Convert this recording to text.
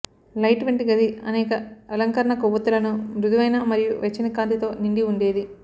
light వంటి గది అనేక అలంకరణ కొవ్వొత్తులను మృదువైన మరియు వెచ్చని కాంతి తో నిండి ఉండేది